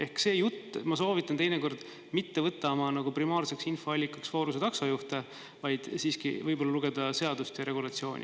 Ehk ma soovitan teinekord mitte võtta oma primaarseks infoallikaks Foruse taksojuhte, vaid siiski võib-olla lugeda seadust ja regulatsiooni.